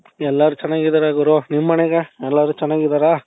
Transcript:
ಎಲ್ಲಾರೂ ಚೆನ್ನಾಗಿದ್ದಾರೆ ಗುರು ನಿಮ್ಮನೆಗೆ ಎಲ್ಲಾರು ಚೆನ್ನಾಗಿದ್ದಾರ ?